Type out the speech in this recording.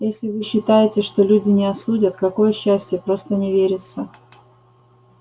если вы считаете что люди не осудят какое счастье просто не верится